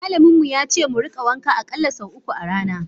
malamin mu yace mu rika wanka akalla sau uku a rana.